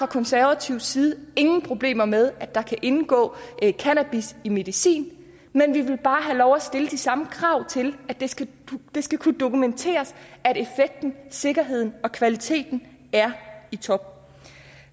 konservativ side ingen problemer med at der kan indgå cannabis i medicin men vi vil bare have lov at stille de samme krav til at det skal skal kunne dokumenteres at effekten sikkerheden og kvaliteten er i top